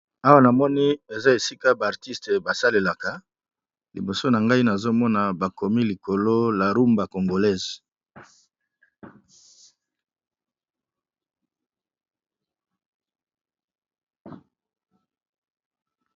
Awa na moni eza esika ba artiste ba salelaka, liboso na ngai nazo mona bakomi likolo la rumba congolaise.